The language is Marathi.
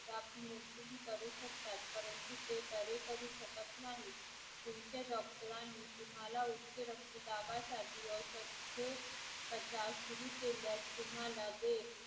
करू शकतात परंतु ते बरे करू शकत नाहीत. तुमच्या doctor रांनी तुम्हाला औषधोपचार सुरु केले असतील पण मात्र ते